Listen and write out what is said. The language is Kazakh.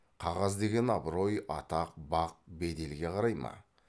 қағаз деген абырой атақ бақ беделге қарай ма